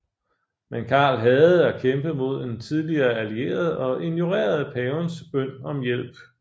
Men Karl hadede at kæmpe mod en tidligere allieret og ignorerede pavens bøn om hjælp